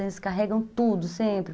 Eles carregam tudo, sempre.